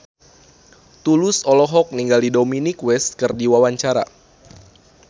Tulus olohok ningali Dominic West keur diwawancara